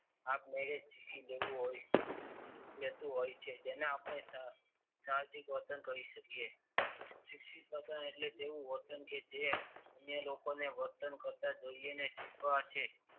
આપમેળે જ શીખી જતું હોય છે. જેને આપણે સાહસિક વર્તન કરી શકીએ. શિક્ષિત વર્તન એ એવું વર્તન કે જે અન્ય લોકોને વર્તન કરતાં જોઈને શીખવા છે.